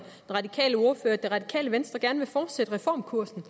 radikale ordfører at radikale venstre gerne vil fortsætte reformkursen